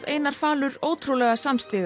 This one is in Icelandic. Einar falur ótrúlega